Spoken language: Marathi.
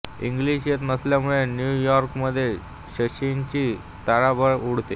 इंग्लिश येत नसल्यामुळे न्यू यॉर्कमध्ये शशीची तारांबळ उडते